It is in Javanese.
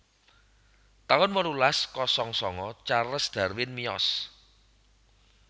taun wolulas kosong sanga Charles Darwin miyos